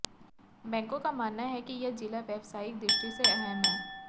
बैंकों का मानना है कि यह जिला व्यावसायिक दृष्टि से अहम है